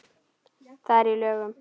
Það er í lögum.